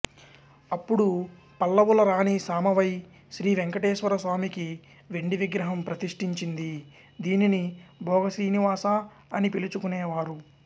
అప్పుడు పల్లవుల రాణి సామవై శ్రీవేంకటేశ్వర స్వామికి వెండి విగ్రహం ప్రతిష్ఠించింది దీనిని భోగ శ్రీనివాసా అని పిలుచుకునేవారు